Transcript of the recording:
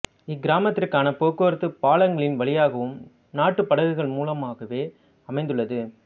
இக் கிராமத்திற்கான போக்குவரத்து பாலங்களின் வழியாகவும் நாட்டு படகுகள் மூலமாகவே அமைந்துள்ளது